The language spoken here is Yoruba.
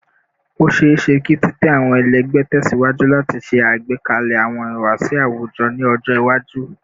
O ṣeeṣe ki titẹ awọn ẹlẹgbẹ tẹsiwaju lati ṣe agbekalẹ awọn ihuwasi awujọ ni ọjọ iwaju